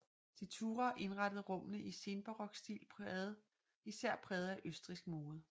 De Thurah indrettede rummene i senbarok stil især præget af østrigsk mode